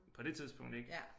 På det tidspunkt ik